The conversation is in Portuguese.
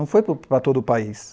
Não foi para todo o país.